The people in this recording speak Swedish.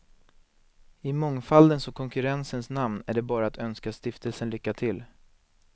I mångfaldens och konkurrensens namn är det bara att önska stiftelsen lycka till.